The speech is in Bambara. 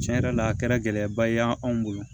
Tiɲɛ yɛrɛ la a kɛra gɛlɛyaba ye an bolo